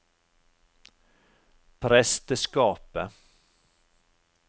presteskapet